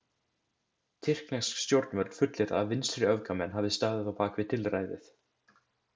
Tyrknesk stjórnvöld fullyrða að vinstriöfgamenn hafi staðið á bak við tilræðið.